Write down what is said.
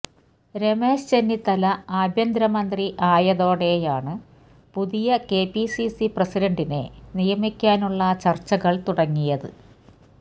രമേശ് ചെന്നിത്തല ആഭ്യന്തരമന്ത്രി ആയതോടെയാണ് പുതിയ കെപിസിസി പ്രസിഡന്റിനെ നിയമിക്കാനുള്ള ചര്ച്ചകള് തുടങ്ങിയത്